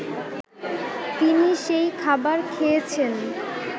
তিনি সেই খাবার খেয়েছেন